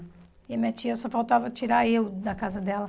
E a minha tia só faltava tirar eu da casa dela.